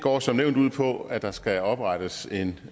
går som nævnt ud på at der skal oprettes en